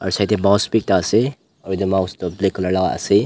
side tae bouse bi ekta ase aro edu mouse tu black colour laka ase.